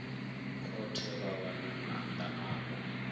khothe vha wana maanda avho